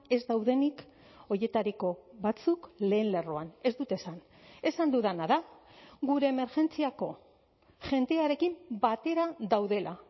ez daudenik horietariko batzuk lehen lerroan ez dut esan esan dudana da gure emergentziako jendearekin batera daudela